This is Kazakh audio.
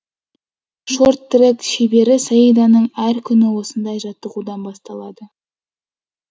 шорт трек шебері саиданың әр күні осындай жаттығудан басталады